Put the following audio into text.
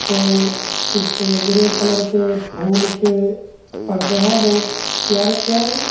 और इस पे ग्रे कलर के फूल के पर्दे हैं बहुत प्यारे प्यारे।